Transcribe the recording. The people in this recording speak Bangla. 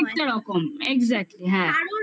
কম এক্সাক্টলি হ্যাঁ